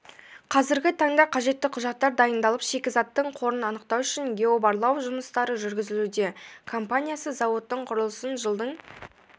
қазіргі таңда қажетті құжаттар дайындалып шикзіаттың қорын анықтау үшін геобарлау жұмыстары жүргізілуде компаниясы зауыттың құрылысын жылдың